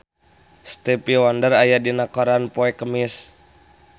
Stevie Wonder aya dina koran poe Kemis